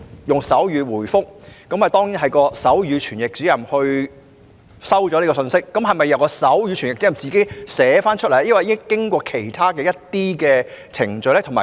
以手語回覆詢問，當然由手語傳譯員接收及傳譯信息，而手語傳譯員又會否自行將信息以文字記錄，還是要經過其他程序？